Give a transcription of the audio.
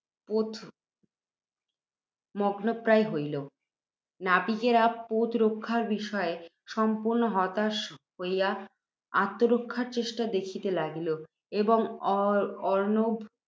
পোত মগ্নপ্রায় হইল। নাবিকেরা, পোত রক্ষা বিষয়ে সম্পূর্ণ হতাশ্বাস হইয়া, আত্মরক্ষার চেষ্টা দেখিতে লাগিল, এবং অর্ণব